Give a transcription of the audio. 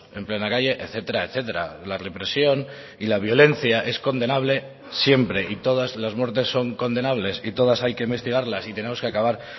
en plena calle etcétera etcétera la represión y la violencia es condenable siempre y todas las muertes son condenables y todas hay que investigarlas y tenemos que acabar